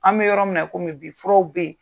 An bɛ yɔrɔ min na, i kɔmi bi furaw bɛ yen.